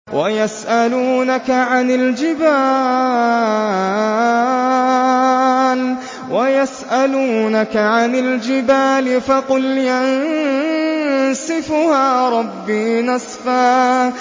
وَيَسْأَلُونَكَ عَنِ الْجِبَالِ فَقُلْ يَنسِفُهَا رَبِّي نَسْفًا